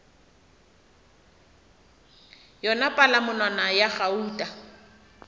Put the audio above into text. yona palamonwana yela ya gauta